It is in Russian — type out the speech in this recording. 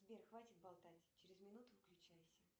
сбер хватит болтать через минуту выключайся